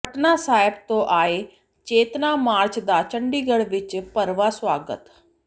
ਪਟਨਾ ਸਾਹਿਬ ਤੋਂ ਆਏ ਚੇਤਨਾ ਮਾਰਚ ਦਾ ਚੰਡੀਗੜ੍ਹ ਵਿੱਚ ਭਰਵਾਂ ਸਵਾਗਤ